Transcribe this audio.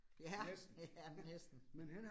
Ja. Ja, næsten